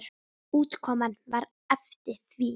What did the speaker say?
Útkoman var eftir því.